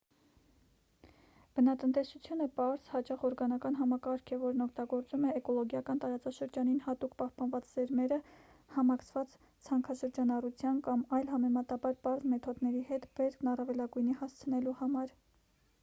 բնատնտեսությունը պարզ հաճախ օրգանական համակարգ է որն օգտագործում է էկոլոգիական տարածաշրջանին հատուկ պահպանված սերմերը համակցված ցանքաշրջանառության կամ այլ համեմատաբար պարզ մեթոդների հետ բերքն առավելագույնի հասցնելու համար